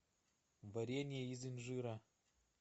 варенье из инжира